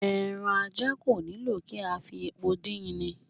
Ẹran ajá kò nílò kí a fi epo din in